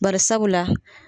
Bari sabula